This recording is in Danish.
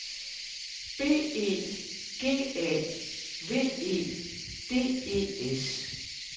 B E G A V E D E S